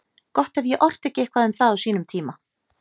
Gott ef ég orti ekki eitthvað um það á sínum tíma.